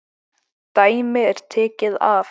Dæmi er tekið af